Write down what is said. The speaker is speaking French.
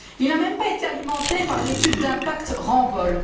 Il n'a même pas été alimenté par l'étude d'impact Ramboll.